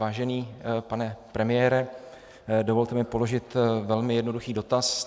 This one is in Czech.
Vážený pane premiére, dovolte mi položit velmi jednoduchý dotaz.